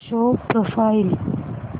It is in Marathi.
show profile